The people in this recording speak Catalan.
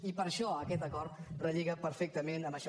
i per això aquest acord relliga perfectament amb això